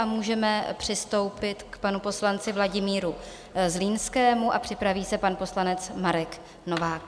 A můžeme přistoupit k panu poslanci Vladimíru Zlínskému a připraví se pan poslanec Marek Novák.